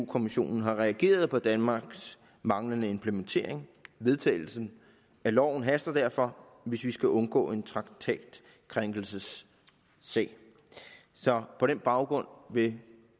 kommissionen har reageret på danmarks manglende implementering vedtagelsen af loven haster derfor hvis vi skal undgå en traktatkrænkelsessag så på den baggrund vil